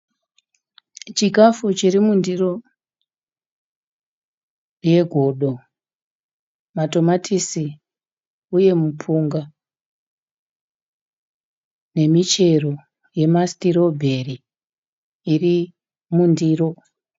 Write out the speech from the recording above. Chikafu chiri mundiro yegodo, matomatisi uye mupunga nemichero yemastrawberry iri mundiro.